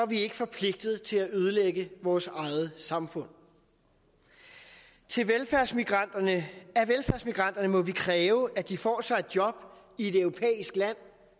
vi ikke forpligtet til at ødelægge vores eget samfund af velfærdsmigranterne må vi kræve at de får sig et job i et europæisk land